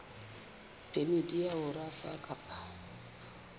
phemiti ya ho rafa kapa